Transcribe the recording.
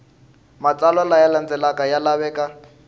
matsalwa laya landzelaka ya laveka